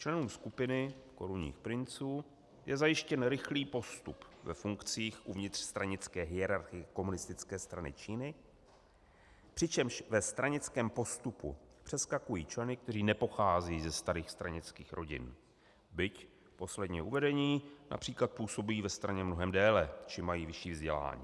Členům skupiny korunních princů je zajištěn rychlý postup ve funkcích uvnitř stranické hierarchie Komunistické strany Číny, přičemž ve stranickém postupu přeskakují členy, kteří nepocházejí ze starých stranických rodin, byť posledně uvedení například působí ve straně mnohem déle či mají vyšší vzdělání.